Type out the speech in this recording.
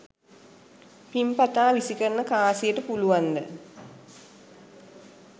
පිං පතා විසිකරන කාසියට පුළුවන්ද